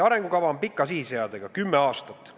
Arengukava on pika sihiseadega: kümme aastat.